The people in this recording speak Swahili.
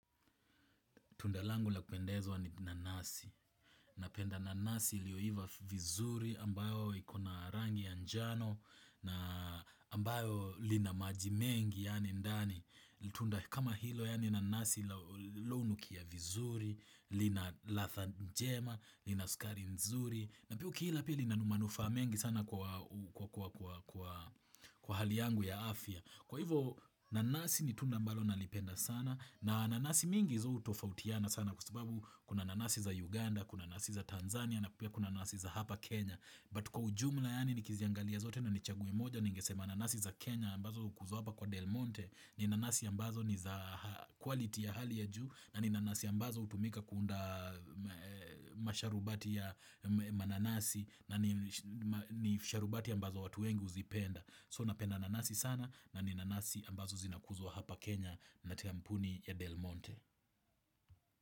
Tunda langu la kupendezwa ni nanasi. Napenda nanasi iliyoiva vizuri ambayo iko na rangi ya njano na ambayo lina maji mengi yaani ndani. Tunda kama hilo yaani nanasi hunukia vizuri, lina ladha njema, lina sukari nzuri. Na pia ukila pia lina manufaa mengi sana kwa hali yangu ya afya. Kwa hivyo nanasi ni tunda ambalo nalipenda sana na nanasi mingi hutofautiana sana kwa sababu kuna nanasi za Uganda, kuna nasi za Tanzania na pia kuna nasi za hapa Kenya. But kwa ujumla yaani nikiziangalia zote na nichaguwe moja ningesema nanasi za Kenya ambazo hukuzwa hapa kwa Del Monte ni nanasi ya mbazo ni za quality ya hali ya juu na ni nanasi ambazo hutumika kuunda masharubati ya mananasi na ni sharubati ambazo watu wengi huzipenda. So napenda nanasi sana na ni nanasi ambazo zinakuzwa hapa Kenya na kampuni ya Del Monte.